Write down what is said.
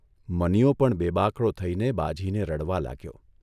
મનીયો પણ બેબાકળો થઇને બાઝીને રડવા લાગ્યો.